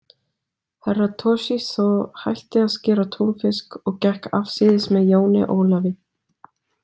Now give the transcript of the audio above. Herra Toshizo hætti að skera túnfisk og gekk afsíðis með jóni Ólafi.